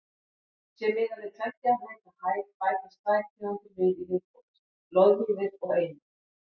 Sé miðað við tveggja metra hæð bætast tvær tegundir við í viðbót: loðvíðir og einir.